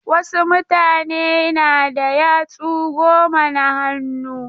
Wasu mutane na da yatsu goma na hannu.